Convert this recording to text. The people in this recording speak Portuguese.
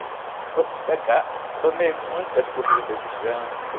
Eu pega, tomei muita corrida de ganso.